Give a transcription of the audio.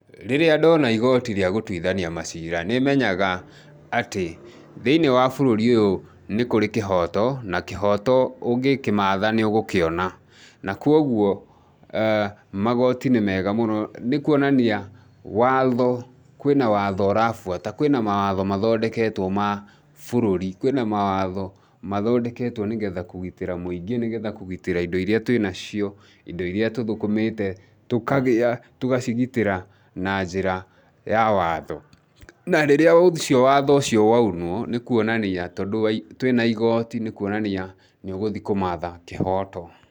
Rĩrĩa ndona igoti rĩa gũteithania macira, nĩ menyaga atĩ, thĩinĩ wa bũrũri uyũ nĩ kũrĩ kĩhoto, na kĩhoto ũngĩkĩmatha nĩũgũkĩona. Na kũoguo, magoti nĩ mega mũno, nĩkũonania watho, kwĩna watho ũrabuata, kwĩna mawatho mathondeketwo ma bũrũri. Kwĩna mawatho mathondeketwo nĩgetha kũgitĩra mũingĩ, nĩgetha kũgitĩra indo iria twĩna cio, indo iria tũthũkũmĩte, tũkagĩa, tũgacigitĩra na njĩra ya watho. Na rĩrĩa ũcio watho ũcio waunwo, nĩ kũonania tondũ twĩna igoti, nĩ kũonania, nĩũgũthi kũmatha kĩhoto.